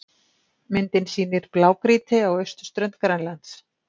Myndin sýnir blágrýti á austurströnd Grænlands.